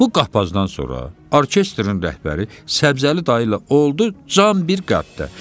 Bu qapazdan sonra orkestrin rəhbəri Səbzəli dayı ilə oldu can bir qəfəsdə.